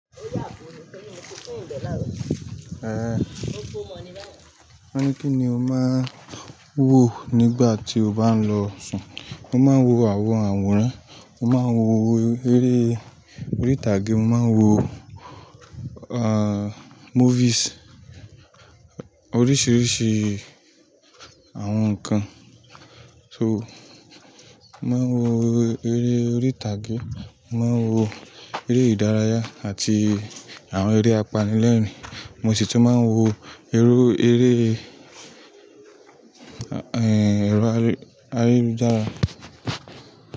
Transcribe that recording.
Wọ́n ní kí ni o máa ń wò nígbà tí o bá ń lọ sùn. Mo máa ń wo àwọn àwòrán, mo máa ń wo eré orí ìtàgé, mo máa ń wo movies oríṣiríṣi àwọn ǹkan. So, mo máa ń wo eré orí ìtàgé, mo máa ń wo eré ìdárayá àti àwọn eré apanilẹ́rìn-ín. Mo sì tún máa ń wo irú eré, ehh-ẹro ayelujara.